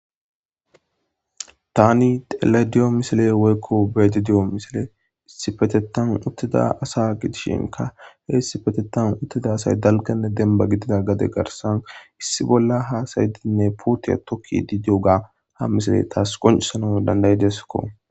tani tele diyo misile woykko beedi diyo misile issipetetan uttida asa gidishinka he isipetetan uttida asay dalkanne denba gidida gade garsan issi bolla haasaydinne puutiya tokki di dioga ha misile taas qoncisana dandaydeskko